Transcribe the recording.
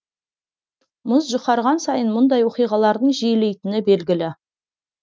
мұз жұқарған сайын мұндай оқиғалардың жиілейтіні белгілі